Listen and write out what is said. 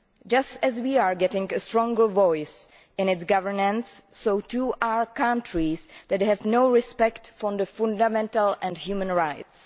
Just as we are getting a stronger voice in its governance, so too are countries that have no respect for fundamental and human rights.